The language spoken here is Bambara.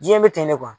Diɲɛ bɛ ten de kuwa